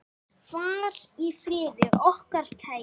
Far í friði, okkar kæri.